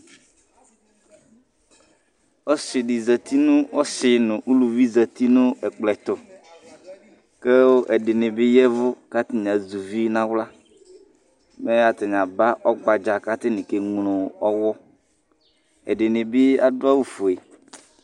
Ɔsɩ dɩ zati nʋ, ɔsɩ nʋ uluvi zati nʋ ɛkplɔ ɛtʋ kʋ ɛdɩnɩ bɩ ya ɛvʋ kʋ atanɩ azɛ uvi nʋ aɣla. Mɛ atanɩ aba ɔgbadza kʋ atanɩ keŋlo ɔɣɔ. Ɛdɩnɩ bɩ adʋ awʋfue.